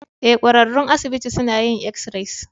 Ee, ƙwararrun asibiti suna yin x-rays.